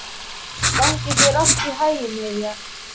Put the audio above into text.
Gangi þér allt í haginn, Irja.